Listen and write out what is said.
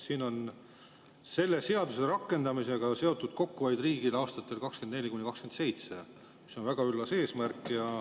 Siin on selle seaduse rakendamisega seotud kokkuhoid riigile aastatel 2024–2027, mis on väga üllas eesmärk.